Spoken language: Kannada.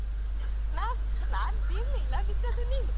ನಾನ್ ನಾನ್ ಬೀಳಿಲ್ಲ, ಬಿದ್ದದ್ದು ನೀನು.